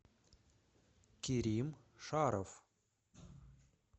кирим шаров